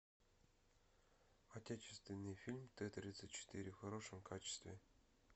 отечественный фильм т тридцать четыре в хорошем качестве